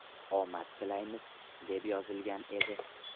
Omad tilaymiz”, deb yozilgan edi.